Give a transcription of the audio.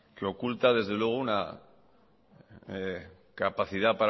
que oculta desde luego una capacidad